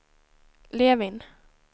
Levin